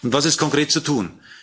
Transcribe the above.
Was ist konkret zu tun?